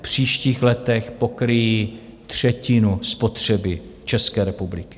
V příštích letech pokryjí třetinu spotřeby České republiky.